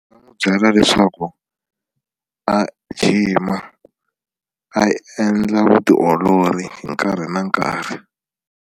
Ndzi n'wi byela leswaku a jima a endla vutiolori hi nkarhi na nkarhi.